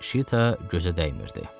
Şita gözə dəymirdi.